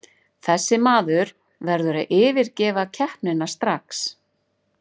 Þessi maður verður að yfirgefa keppnina strax.